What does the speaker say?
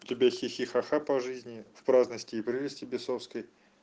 тебе хи-хи ха-ха по жизни в праздности и прелести бесовской